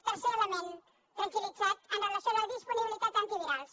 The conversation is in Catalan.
tercer element tranquil·litat amb relació a la disponibilitat d’antivirals